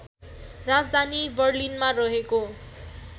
राजधानी बर्लिनमा रहेको